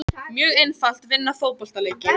Mjög einfalt, vinna fótboltaleiki.